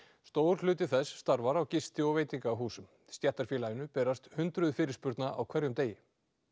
stór hluti þess starfar á gisti og veitingahúsum stéttarfélaginu berast hundruð fyrirspurna á hverjum degi